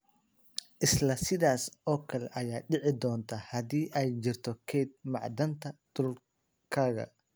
Isla sidaas oo kale ayaa dhici doonta haddii ay jirto kayd macdanta dhulkaaga.